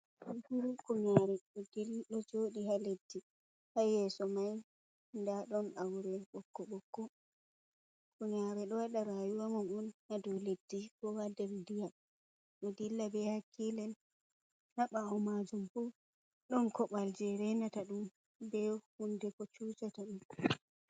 Kunkuru hunyare ɗo joɗi ha leddi ha yeso mai da ɗon aure boƙko-boƙko, hunyare ɗo waɗa rayuwa mum on ha dow leddi ko ha ndiyam ɗo dilla be hakkilen ha bawo majum bo ɗon kobal je reinata ɗum be hunde ko cucata ɗum.